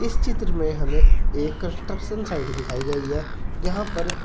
इस चित्र में हमें एक कंस्ट्रक्शन साइड दिखाई गई है जहां पर--